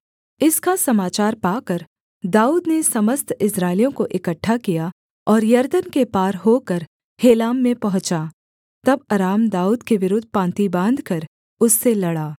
इसका समाचार पाकर दाऊद ने समस्त इस्राएलियों को इकट्ठा किया और यरदन के पार होकर हेलाम में पहुँचा तब अराम दाऊद के विरुद्ध पाँति बाँधकर उससे लड़ा